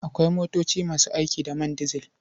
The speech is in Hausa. Akwai motoci masu aiki da man dizil.